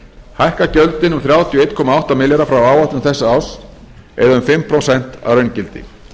hækka gjöldin um þrjátíu og einn komma átta milljarð frá áætlun þessa árs eða um fimm prósent að raungildi